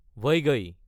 ভাইগাই